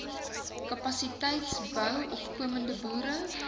kapasiteitsbou opkomende boere